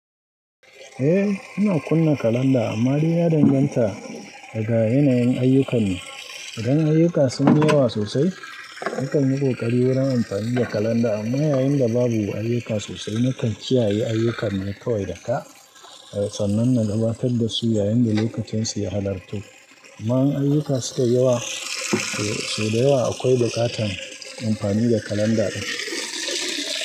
Eh, ina kunna kalanda amma dai ya danganta daga yanayin ayyukan ne. Idan ayyuka sun yi yawa sosai, mukan yi ƙoƙari wurin amfani da kalanda amma yayin da babu ayyuka sosai mukan kiyaye ayyukan ne kawai da ka. Sannan na gabatar da su yayin da lokacinsu ya halarto. Amma in ayyuka sukai yawa sau da yawa akwai buƙatan amfani da kalanda ɗin.